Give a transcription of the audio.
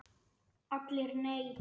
ALLIR: Nei!